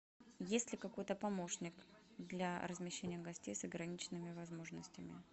есть ли какой то помощник для размещения гостей с ограниченными возможностями